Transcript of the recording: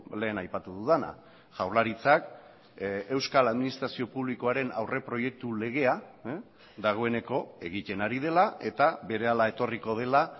lehen aipatu dudana jaurlaritzak euskal administrazio publikoaren aurreproiektu legea dagoeneko egiten ari dela eta berehala etorriko dela